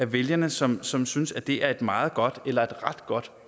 vælgerne som som synes det er et meget godt eller ret godt